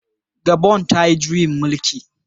Gabon ta yi juyin mulki